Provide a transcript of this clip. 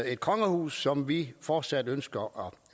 et kongehus som vi fortsat ønsker